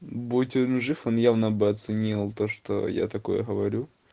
будь он жив он явно бы оценил то что я такое говорю